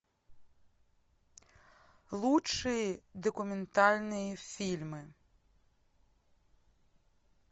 лучшие документальные фильмы